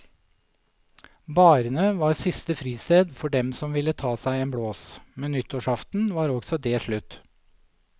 Barene var siste fristed for dem som ville ta seg en blås, men nyttårsaften var også det slutt.